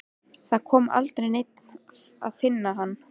Það kom aldrei neinn að finna hann.